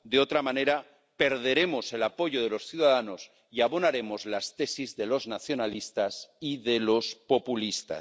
en caso contrario, perderemos el apoyo de los ciudadanos y abonaremos las tesis de los nacionalistas y de los populistas.